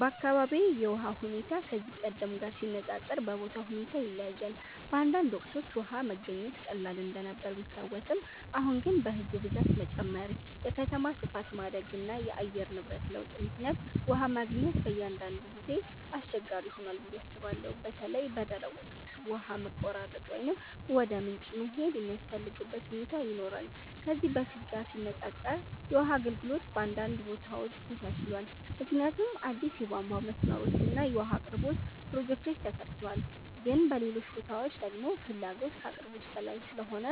በአካባቢዬ የውሃ ሁኔታ ከዚህ ቀደም ጋር ሲነፃፀር በቦታው ሁኔታ ይለያያል። በአንዳንድ ወቅቶች ውሃ መገኘት ቀላል እንደነበር ቢታወስም፣ አሁን ግን በሕዝብ ብዛት መጨመር፣ የከተማ ስፋት ማደግ እና የአየር ንብረት ለውጥ ምክንያት ውሃ ማግኘት በአንዳንድ ጊዜ አስቸጋሪ ሆኗል ብዬ አስባለሁ። በተለይ በደረቅ ወቅት ውሃ መቆራረጥ ወይም ወደ ምንጭ መሄድ የሚያስፈልግበት ሁኔታ ይኖራል። ከዚህ በፊት ጋር ሲነፃፀር የውሃ አገልግሎት በአንዳንድ ቦታዎች ተሻሽሏል፣ ምክንያቱም አዲስ የቧንቧ መስመሮች እና የውሃ አቅርቦት ፕሮጀክቶች ተሰርተዋል። ግን በሌሎች ቦታዎች ደግሞ ፍላጎት ከአቅርቦት በላይ ስለሆነ